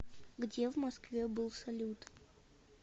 где в москве был салют